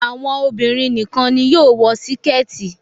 Àwọn obìrin nìkan ní yóò wò Síkẹ́tì.